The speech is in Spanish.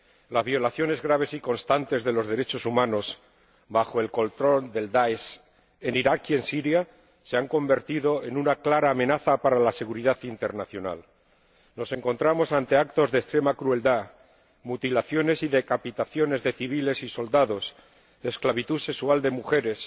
Las violaciones graves y constantes de los derechos humanos en Irak y en Siria bajo el control del DAESH se han convertido en una clara amenaza para la seguridad internacional. Nos encontramos ante actos de extrema crueldad mutilaciones y decapitaciones de civiles y soldados esclavitud sexual de mujeres